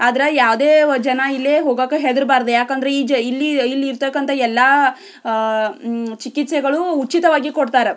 ಆದ್ರೆ ಯಾವುದೇ ಜನ ಇಲ್ಲಿ ಹೋಗಕ್ಕೆ ಹೆದರಬಾರದು ಯಾಕೆಂದರೆ ಇಲ್ ಇಲ್ಲಿ ಇಲ್ಲಿ ಇರತಖಂತಹ ಎಲ್ಲ ಅಹ್ ಅಹ್ ಚಿಕೆತ್ಸೆ ಉಚಿತವಾಗಿ ಕೊಡುತ್ತಾರೆ.